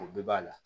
O bɛɛ b'a la